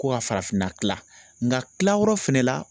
Ko ka farafinna kila nka kila yɔrɔ fɛnɛ la